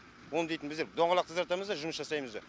оны дейтін біздер доңғалақ тазартамыз ба жұмыс жасаймыз ба